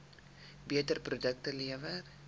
beter produkte lewer